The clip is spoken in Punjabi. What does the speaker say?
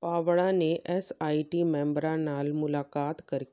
ਭਾਵੜਾ ਨੇ ਐਸਆਈਟੀ ਮੈਂਬਰਾਂ ਨਾਲ ਮੁਲਾਕਾਤ ਕਰ